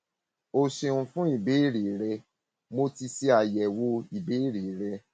o ṣeun fún ìbéèrè rẹ mo ti ṣe àyẹwò ìbéèrè rẹ